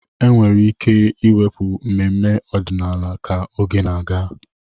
Enwere ike ịwepụ mmemme ọdịnala ka oge na-aga.